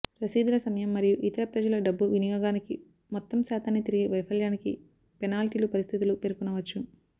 రసీదులు సమయం మరియు ఇతర ప్రజల డబ్బు వినియోగానికి మొత్తం శాతాన్ని తిరిగి వైఫల్యానికి పెనాల్టీలు పరిస్థితులు పేర్కొనవచ్చు